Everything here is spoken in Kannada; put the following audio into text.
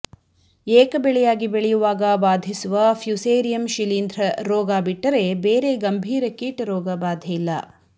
ಏಕಬೆಳೆಯಾಗಿ ಬೆಳೆಯುವಾಗ ಬಾಧಿಸುವ ಫ್ಯುಸೇರಿಯಂ ಶಿಲೀಂಧ್ರ ರೋಗ ಬಿಟ್ಟರೆ ಬೇರೆ ಗಂಭೀರ ಕೀಟರೋಗ ಬಾಧೆಯಿಲ್ಲ